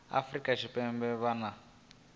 afurika tshipembe ha vha na